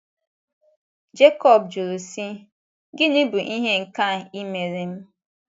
Jekọb jụrụ si: Gịnị bụ ihe nke a ịmere m?